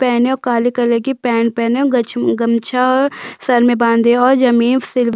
पहने हो काले कलर की पैंट पेहने हो गछ गमछा सर में बांधे हो जमीन सिर प--